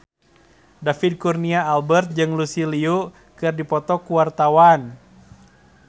David Kurnia Albert jeung Lucy Liu keur dipoto ku wartawan